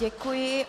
Děkuji.